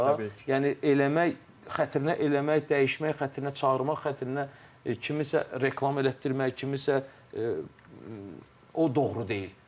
Yəni eləmək xətrinə eləmək, dəyişmək xətrinə, çağırmaq xətrinə kimisə reklam elətdirmək, kimisə o doğru deyil.